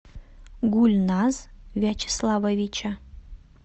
гульназ вячеславовича